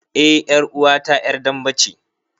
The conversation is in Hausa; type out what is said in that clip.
Eh ƴaruwa ta ƴar dambe ce.